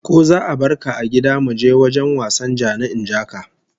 Ko za'a barka a gida muje wajen wasan ja-ni-in-ja-ka?